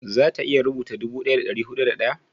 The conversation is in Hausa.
za ta iya rubuta dubu daya da dari hudu da daya?